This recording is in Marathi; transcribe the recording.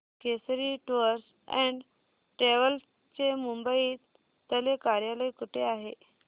केसरी टूअर्स अँड ट्रॅवल्स चे मुंबई तले कार्यालय कुठे आहे